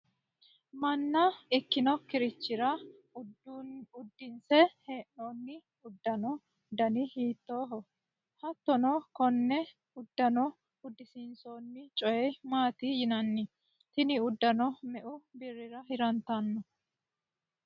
manna ikkinokkirichira uddisiinse hee'noonni uddano dani hiittooho? hattono konne uddano uddisiinsoonni coye maati yinanniho? tini uddano meu birrira hirrannite ?